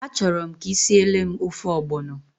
A chọrọ m ka ị siele m ofe ọgbọnọ.